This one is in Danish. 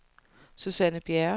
Susanne Bjerre